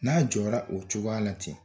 N'a jɔra o cogoya la ten